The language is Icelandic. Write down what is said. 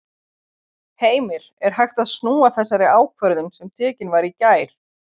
Heimir: Er hægt að snúa þessari ákvörðun sem tekin var í gær?